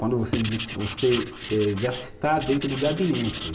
Quando você vir, você eh já está dentro do gabinete.